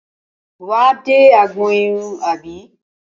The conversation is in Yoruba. Wà á dé agbọn irun àbí?